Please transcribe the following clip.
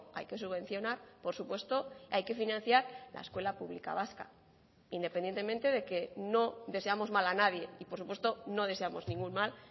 hay que subvencionar por supuesto hay que financiar la escuela pública vasca independientemente de que no deseamos mal a nadie y por supuesto no deseamos ningún mal